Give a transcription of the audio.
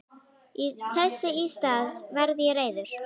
Þess í stað varð ég reiður.